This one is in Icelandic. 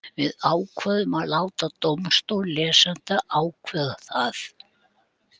Við ákváðum að láta dómstól lesenda ákveða það.